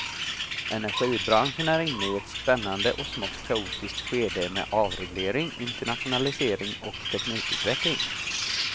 Energibranschen är inne i ett spännande och smått kaotiskt skede med avreglering, internationalisering och teknikutveckling.